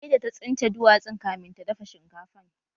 Sai da ta tsince duwatsun kamin ta dafa shinkafan